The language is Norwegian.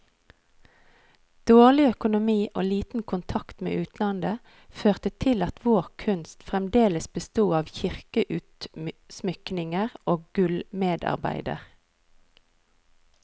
Dårlig økonomi og liten kontakt med utlandet, førte til at vår kunst fremdeles besto av kirkeutsmykninger og gullsmedarbeider.